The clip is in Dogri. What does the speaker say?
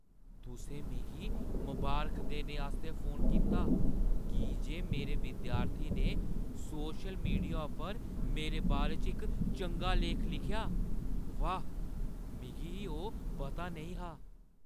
तुसें मिगी मबारख देने आस्तै फोन कीता की जे मेरे विद्यार्थी ने सोशल मीडिया उप्पर मेरे बारे च इक चंगा लेख लिखेआ ? वाह्, मिगी ओह् पता नेईं हा ।